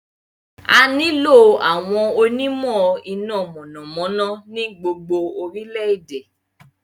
A nílò àwọn onímọ̀ iná mọ̀nàmọ́ná ní gbogbo orílẹ̀-èdè.